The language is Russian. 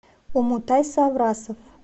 умутай саврасов